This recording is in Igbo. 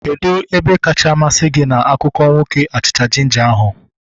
Kedụ ebe kacha masị gị na akụkọ nwoke achịcha jinja ahu?